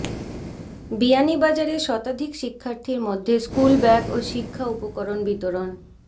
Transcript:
বিয়ানীবাজারে শতাধিক শিক্ষার্থীদের মধ্যে স্কুল ব্যাগ ও শিক্ষা উপকরণ বিতরণ